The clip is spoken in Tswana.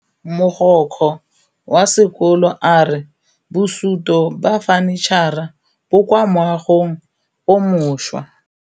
Mogokgo wa sekolo a re bosutô ba fanitšhara bo kwa moagong o mošwa.